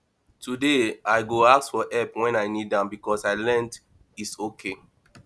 today i go ask for help when i need am because i learned its okay